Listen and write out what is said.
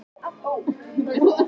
Alls staðar er uppruninn hinn sami.